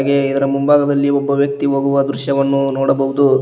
ಗೆ ಇದರ ಮುಂಭಾಗದಲ್ಲಿ ಒಬ್ಬ ವ್ಯಕ್ತಿ ಹೋಗುವ ದೃಶ್ಯವನ್ನು ನೋಡಬಹುದು.